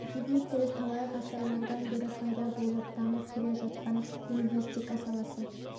әдеби тіл талай ғасырлардан бері пайда болып дамып келе жатқан лингвистика саласы